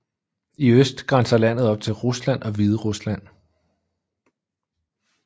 I øst grænser landet op til Rusland og Hviderusland